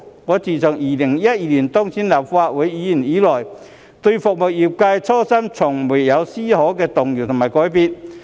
我自2012年當選立法會議員以來，對服務業界的初心從未有絲毫動搖和改變。